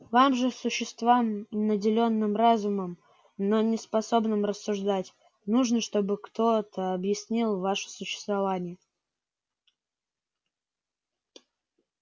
вам же существам наделённым разумом но не способным рассуждать нужно чтобы кто то объяснил ваше существование